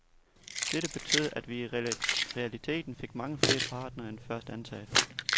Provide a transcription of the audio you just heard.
Dette betød, at vi i realiteten fik mange flere partnere end først antaget.